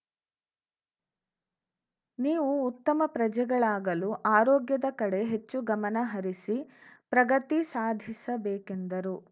ನೀವು ಉತ್ತಮ ಪ್ರಜೆಗಳಾಗಲು ಆರೋಗ್ಯದ ಕಡೆ ಹೆಚ್ಚು ಗಮನ ಹರಿಸಿ ಪ್ರಗತಿ ಸಾಧಿಸ ಬೇಕೆಂದರು